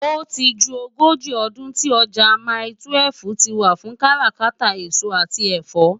Óti jú ógóji òdún ti òjá mái-twèf tiwá fún kàrákàtá esó ati ẹfọ.